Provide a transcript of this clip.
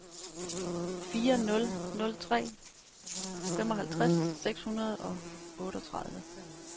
fire nul nul tre femoghalvtreds seks hundrede og otteogtredive